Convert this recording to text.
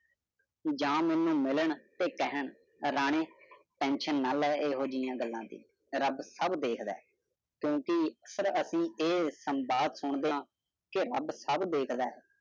ਜਾ ਮਨੂੰ ਮਿਲਣ ਤੇ ਕਹਨ, ਰਾਣੀ tension ਨਾ ਲਵੇ ਇਹੋ ਜਿਯਾ ਗੱਲਾਂ ਦੀ, ਰਬ ਸਬ ਦੇਖਦਾ ਹੈ। ਕਿਉਕਿ ਅਕਸਰ ਐਸੀ ਇਹ ਸੰਵਾਦ ਸੁਣਦੇ ਆ ਕੇ ਰਬ ਸਬ ਦੇਖਦਾ ਹੈ।